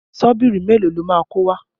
Ṣọ́bìrì mélòó lo máa kó wá?